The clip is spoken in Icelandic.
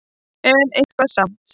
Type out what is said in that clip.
En eitthvað samt.